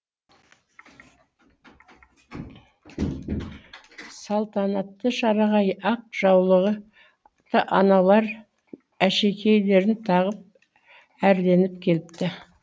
салтанатты шараға ақ жаулығы аналар әшекейлерін тағып әрленіп келіпті